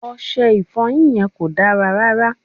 Ọṣẹ Ìfọ̀yín yẹn kò dára rárá